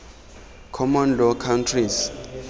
common law countries